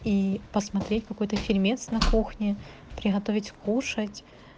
и посмотреть какой-то фильмец на кухне приготовить кушать